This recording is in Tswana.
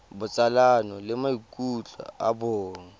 botsalano le maikutlo a bong